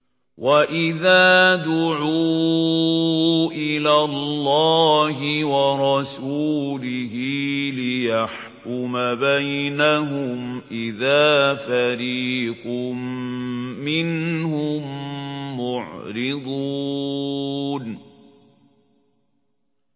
وَإِذَا دُعُوا إِلَى اللَّهِ وَرَسُولِهِ لِيَحْكُمَ بَيْنَهُمْ إِذَا فَرِيقٌ مِّنْهُم مُّعْرِضُونَ